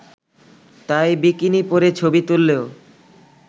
তাই বিকিনি পরে ছবি তুললেও